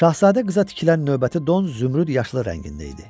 Şahzadə qıza tikilən növbəti don zümrüd yaşılı rəngində idi.